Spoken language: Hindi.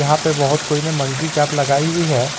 यहां पे बहोत कोई ने मंकी कैप लगाई हुई है।